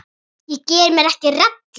Ég geri mér ekki rellu.